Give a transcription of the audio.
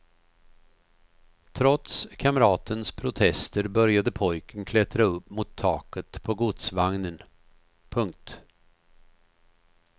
Trots kamratens protester började pojken klättra upp mot taket på godsvagnen. punkt